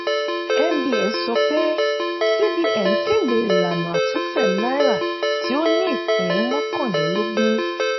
nbs sọ pé cbn kéde ìlànà àtúntẹ̀ náírà tí ó ní ìpín mọ́kànlélógún